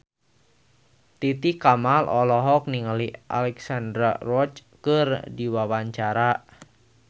Titi Kamal olohok ningali Alexandra Roach keur diwawancara